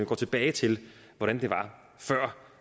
går tilbage til hvordan det var før